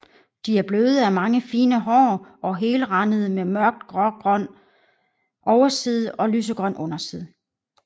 De er bløde af mange fine hår og helrandede med mørkt grågrøn overside og lysegrøn underside